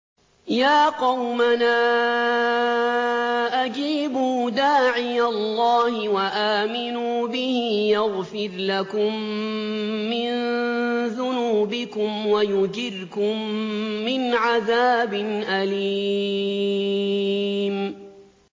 يَا قَوْمَنَا أَجِيبُوا دَاعِيَ اللَّهِ وَآمِنُوا بِهِ يَغْفِرْ لَكُم مِّن ذُنُوبِكُمْ وَيُجِرْكُم مِّنْ عَذَابٍ أَلِيمٍ